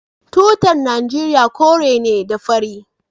Tutar Najeriya kore ne da fari.